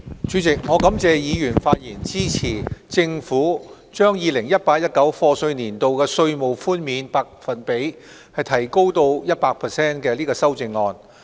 主席，我感謝議員發言支持政府將 2018-2019 課稅年度稅務寬免百分比提高至 100% 的修正案。